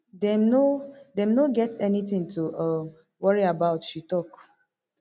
dem no dem no get anytin to um worry about she tok